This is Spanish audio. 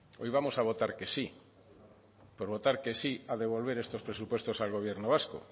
hoy vamos a votar que sí por votar que sí a devolver estos presupuestos al gobierno vasco